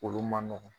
Olu man nɔgɔn